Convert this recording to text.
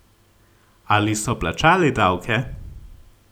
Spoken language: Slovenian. Ali so plačali davke?